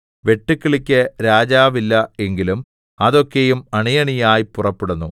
വെട്ടുക്കിളിക്ക് രാജാവില്ല എങ്കിലും അതൊക്കെയും അണിയണിയായി പുറപ്പെടുന്നു